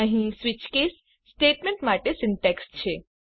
અહીં switch case statement માટે syntax છે